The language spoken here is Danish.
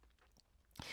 DR2